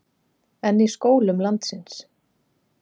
En í skólum landsins?